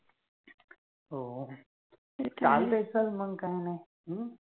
हो, चालतेच मंग काइ नाय